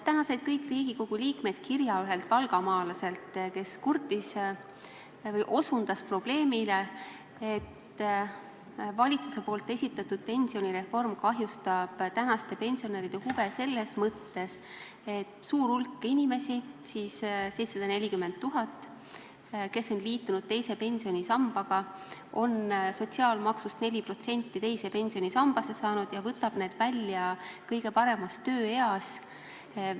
Täna said kõik Riigikogu liikmed kirja ühelt valgamaalaselt, kes osutas probleemile, et valitsuse esitatud pensionireform kahjustab praeguste pensionäride huve selles mõttes, et suur hulk inimesi nendest 740 000-st, kes on liitunud teise pensionisambaga ja on sotsiaalmaksust 4% teise pensionisambasse saanud, võtab selle raha välja kõige paremas tööeas.